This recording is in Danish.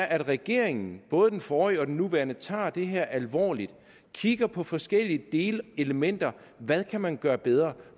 at regeringen både den forrige og den nuværende tager det her alvorligt og kigger på forskellige delelementer hvad kan man gøre bedre